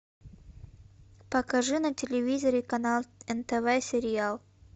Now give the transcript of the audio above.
покажи на телевизоре канал нтв сериал